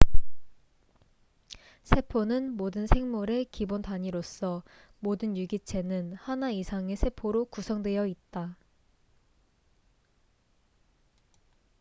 세포는 모든 생물의 기본 단위로서 모든 유기체는 하나 이상의 세포로 구성되어 있다